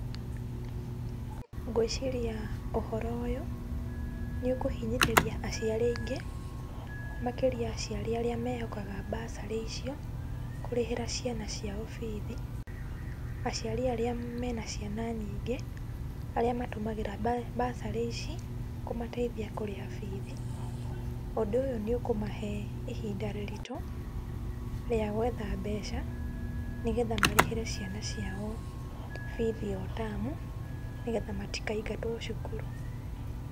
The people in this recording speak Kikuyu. Ngwĩcĩria ũhoro ũyũ nĩ ũkũhinyĩrĩria acĩari aingĩ makĩria aciari arĩa mehokaga bursary icio kũrĩhĩra ciana ciao bithi. Aciari aria mena ciana nyingĩ, arĩa matũmagĩra bursary ici kũmateithia kũrĩha bithi. Ũndũ ũyũ nĩ ũkũmahe ihinda rĩritũ rĩa gwetha mbeca nĩ getha marĩhĩre ciana ciao bithi o tamu nĩ getha matikaingatwo cukuru.